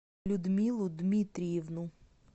людмилу дмитриевну